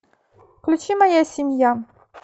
включи моя семья